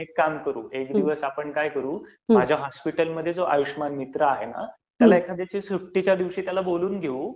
आपण एक काम करू. एक दिवस आपण काय करू, माझ्या हॉस्पिटलमध्ये जो आयुष्यमान मित्र आहे ना, त्याला एखाद्या दिवशी सुट्टीच्या दिवशी बोलवून घेऊ